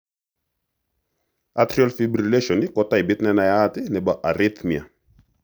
Atrial fibrillasion ko taipit nenaiyat nebo arrhythmia